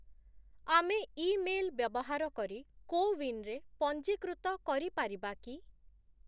ଆମେ ଇମେଲ୍ ବ୍ୟବହାର କରି କୋୱିନ୍‌ରେ ପଞ୍ଜୀକୃତ କରିପାରିବା କି?